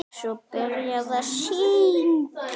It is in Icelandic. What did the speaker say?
Svo var byrjað að syngja.